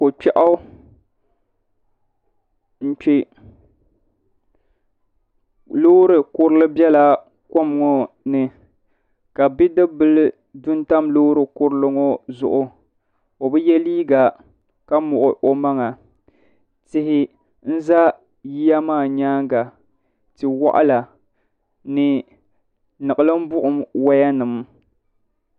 Ko'kpɛɣu m-kpe loori kurili bela kom ŋɔ ni ka bidibila du n-tam loori kurili ŋɔ zuɣu o bi ye liiga ka muɣi o maŋa tihi n-za yiya maa nyaaŋa ti'waɣila ni niɣilim buɣum wayanima.